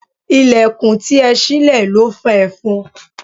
Ìlẹ̀kùn tí ẹ sile ló fa efon.